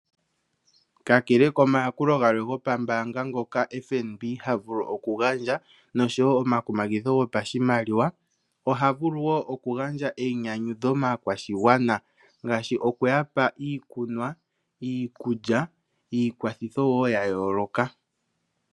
Kakele komayakulo galwe ngoka FNB ha gandja noshowoo omakumagidho gopashimaliwa , ohavulu woo okugandja einyanyudho maakwashigwana ngaashi okuyapa iikunwa, iikulya niikwathitho woo yayooloka.